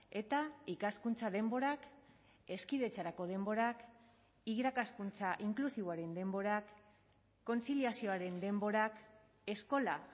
eta ikaskuntza denborak hezkidetzarako denborak irakaskuntza inklusiboaren denborak kontziliazioaren denborak eskola